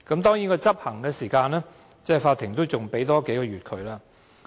當然，在執行時間上，法庭給予政府數個月時限。